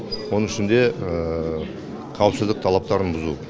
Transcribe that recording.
оның ішінде қауіпсіздік талаптарын бұзу